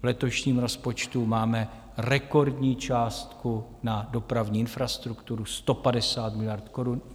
V letošním rozpočtu máme rekordní částku na dopravní infrastrukturu 150 miliard korun.